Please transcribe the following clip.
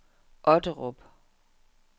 Otterup